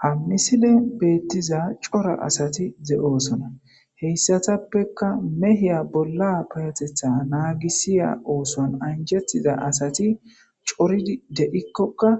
Ha misile betiza cora asati de'osona heyssatappekka mehiya bolla payatetha naagisiya ooson anjettida asati coridi deikkokka